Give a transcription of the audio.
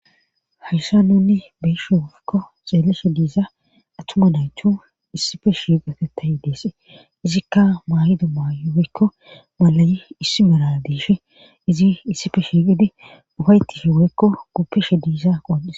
Hayssa nuni besho wofikko xeellishe diiza attuma naythu issife shiiqate tayi deesse izikka maayido maaywoykko malayi issi mera diishe izi issife shiiqidi ufaytishe weykko guppishe diiza qoodhise.